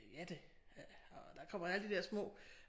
Jadde øh og der kommer alle de der små